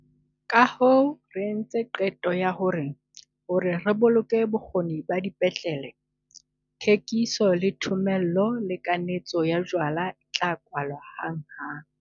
Kahoo re entse qeto ya hore, hore re boloke bokgoni ba dipetlele, thekiso, le thomello le kanetso ya jwala e tla kwalwa hanghang.